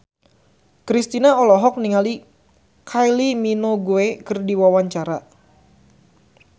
Kristina olohok ningali Kylie Minogue keur diwawancara